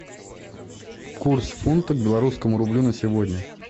курс фунта к белорусскому рублю на сегодня